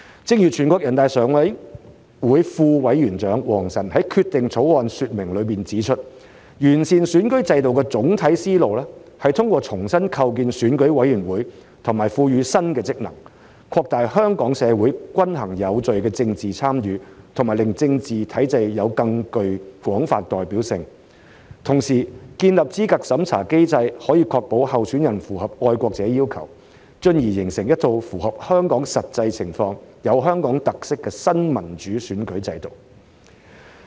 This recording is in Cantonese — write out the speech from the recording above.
正如全國人大常委會副委員長王晨在《決定》的說明中指出，完善選舉制度的總體思路，是通過重新構建選委會和賦予新職能，擴大香港社會均衡有序的政治參與和令政治體制有更廣泛代表性，同時建立資格審查機制可以確保候選人符合愛國者要求，進而形成一套符合香港實際情況，有香港特色的新民主選舉制度。